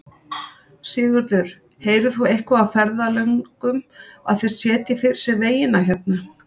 Sigurður: Heyrir þú eitthvað á ferðalöngum að þeir setji fyrir sig vegina hérna?